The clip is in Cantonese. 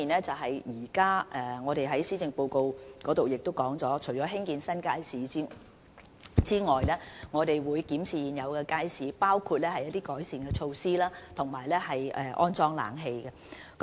正如施政報告提到，除興建新街市外，我們也會檢視現有街市，包括進行一些改善措施，以及安裝空調。